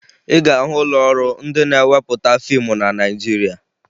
Ị ga-ahụ ụlọọrụ ndị na-ewepụta fiimu na Naịjirịa